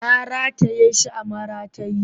Na rataye shi a maratayi